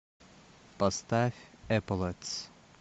поставь эполетс